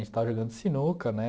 A gente estava jogando sinuca, né?